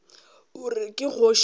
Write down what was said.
gore ke kgoši monna wa